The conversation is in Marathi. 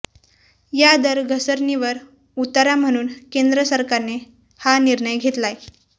या दर घसरणीवर उतारा म्हणून केंद्र सरकारनं हा निर्णय घेतलाय